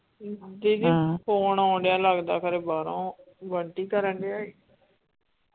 ਦੀਦੀ phone ਆਉਣ ਡੇਆ ਲਗਦਾ ਖਰੇ ਬਾਹਰੋਂ ਬੰਟੀ ਕਰਨ ਡੇਆ ਈ .